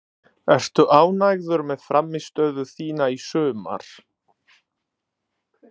Ertu ánægður með frammistöðu þína í sumar?